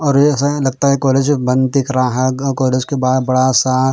और ये ऐसा लगता हैं कॉलेज बंद दिख रहा हैं अ कॉलेज के बाहर बड़ा सा--